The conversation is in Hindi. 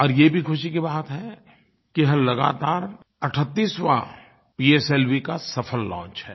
और ये भी खुशी की बात है कि यह लगातार 38वाँ पीएसएलवी का सफल लॉन्च है